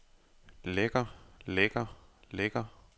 lækker lækker lækker